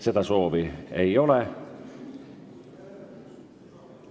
Seda soovi ei ole.